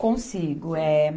Consigo. É